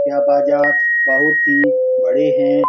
यह बाजार बहुत ही बड़े हैं।